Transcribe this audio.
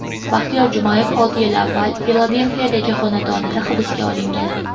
Baxtiyor Jumayev olti yil avval Filadelfiyadagi xonadonida hibsga olingan.